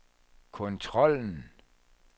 kontrollen